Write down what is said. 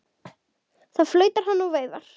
Þá flautar hann og veifar.